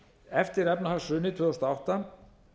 eftir efnahagshrunið tvö þúsund og átta